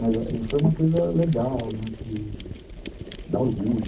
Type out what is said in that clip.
Mas foi uma coisa legal, né, que dá orgulho.